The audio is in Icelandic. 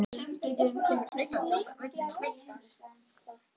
Sendillinn kemur hlaupandi út á götuna og veif